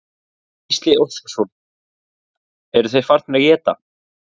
Gísli Óskarsson: Eru þeir farnir að éta?